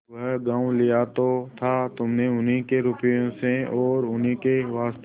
वह गॉँव लिया तो था तुमने उन्हीं के रुपये से और उन्हीं के वास्ते